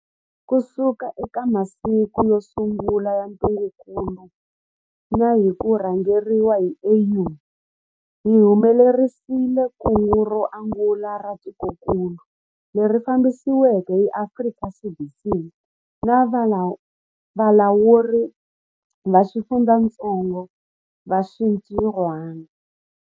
Kusuka eka masiku yo sungula ya ntungukulu na hi ku rhangeriwa hi AU, hi humelerisile kungu ro angula ra tikokulu, leri fambisiweke hi Afrika CDC na valawuri va xifundzatsongo va xintirhwana.